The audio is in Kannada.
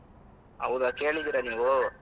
ಹೌದಾ ಕೇಳಿದ್ದೀರಾ ನೀವು?